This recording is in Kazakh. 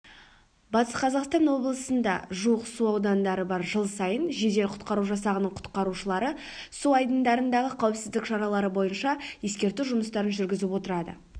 батыс қазақстан облысында жуық су айдындары бар жыл сайын жедел-құтқару жасағының құтқарушылары су айдындарындағы қауіпсіздік шаралары бойынша ескерту жұмыстарын жүргізіп отырады